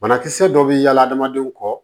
Banakisɛ dɔ bɛ yaala hadamadenw kɔ